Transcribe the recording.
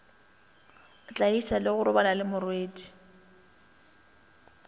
tlaiša le go robala lemorwedi